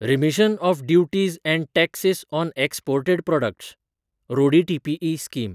remission of duties and taxes on exported products (रोडीटीईपी) scheme